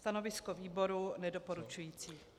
Stanovisko výboru nedoporučující.